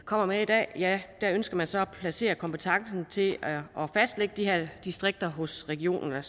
kommer med i dag ønsker man så at placere kompetencen til at fastlægge de her distrikter hos regionerne